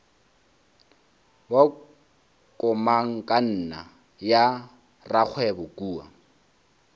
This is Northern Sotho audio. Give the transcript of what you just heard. wa komangkanna ya rakgwebo kua